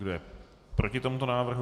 Kdo je proti tomuto návrhu?